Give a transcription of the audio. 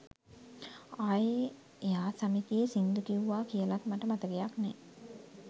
ආයෙ එයා සමිතියෙ සිංදු කිව්වා කියලත් මට මතකයක් නෑ.